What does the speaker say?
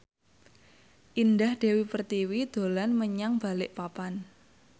Indah Dewi Pertiwi dolan menyang Balikpapan